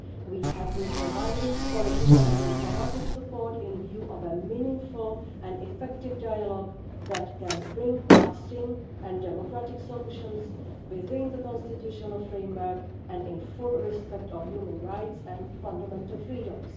We have been providing political and diplomatic support with a view to a meaningful and effective dialogue that can bring lasting and democratic solutions within the constitutional framework and in full respect of human rights and fundamental freedoms.